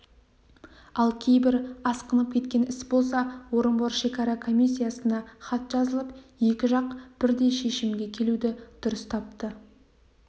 ал кейбір асқынып кеткен іс болса орынбор шекара комиссиясына хат жазылып екі жақ бірдей шешімге келуді дұрыс тапты